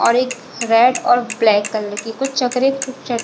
और एक रेड और ब्लैक कलर की चक्रे कु चक--